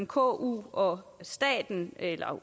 ku og staten